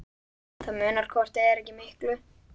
Það munar hvort eð er ekki miklu.